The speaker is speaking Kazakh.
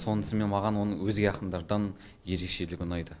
сонысымен маған оның өзге ақындардан ерекшелігі ұнайды